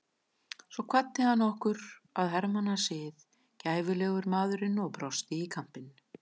Svo kvaddi hann okkur að hermannasið, gæfulegur maðurinn og brosti í kampinn.